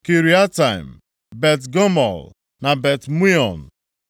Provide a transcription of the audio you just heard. Kiriatem, Bet-Gamul na Bet-Meon,